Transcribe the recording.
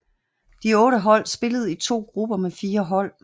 De otte hold spillede i to grupper med fire hold